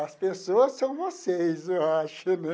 As pessoas são vocês, eu acho, né?